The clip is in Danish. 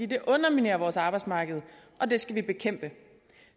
det underminerer vores arbejdsmarked og det skal vi bekæmpe